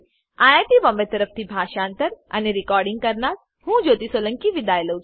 IIT Bombay તરફથી હું જ્યોતી સોલંકી વિદાય લઉં છું